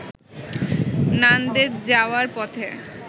নানদেদ যাওয়ার পথে